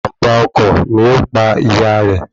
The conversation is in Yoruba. Ìjàm̀bá ọkọ̀ ni ó pa ìyá rẹ̀